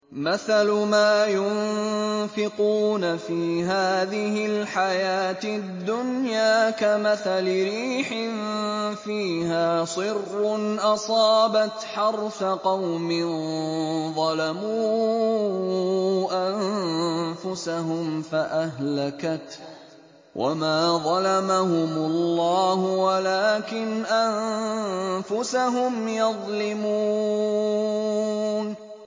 مَثَلُ مَا يُنفِقُونَ فِي هَٰذِهِ الْحَيَاةِ الدُّنْيَا كَمَثَلِ رِيحٍ فِيهَا صِرٌّ أَصَابَتْ حَرْثَ قَوْمٍ ظَلَمُوا أَنفُسَهُمْ فَأَهْلَكَتْهُ ۚ وَمَا ظَلَمَهُمُ اللَّهُ وَلَٰكِنْ أَنفُسَهُمْ يَظْلِمُونَ